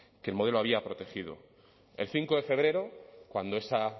que el modelo había protegido el cinco de febrero cuando ese